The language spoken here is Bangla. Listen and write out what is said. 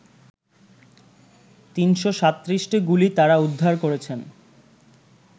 ৩৩৭টি গুলি তারা উদ্ধার করেছেন